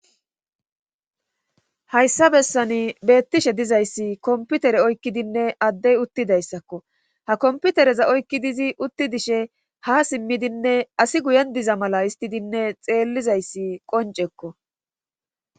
Hayssa bessani beettishe dizayssi kompitere oykkidinne adey uttidayssakko ha kompitereza oykki dizi utti dishe haa simidinne asi guyen diza mala hesttidinne xeellizayssi qonccekko.